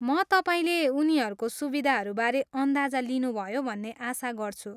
म तपाईँले उनीहरूको सुविधाहरूबारे अन्दाजा लिनुभयो भन्ने आशा गर्छु।